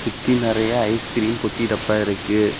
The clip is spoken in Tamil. சுத்தி நறைய ஐஸ்கிரீம் பொட்டி டப்பா இருக்கு.